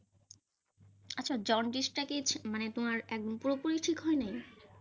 আচ্ছা জন্ডিসটা কি মানে তোমার পুরোপুরি ঠিক হয় নাই?